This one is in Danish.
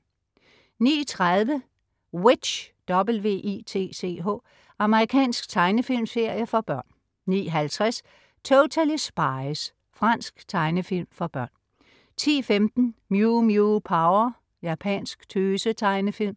09.30 W.i.t.c.h. Amerikansk tegnefilmserie for børn 09.50 Totally Spies. Fransk tegnefilm for børn 10.15 Mew Mew Power. Japansk tøse-tegnefilm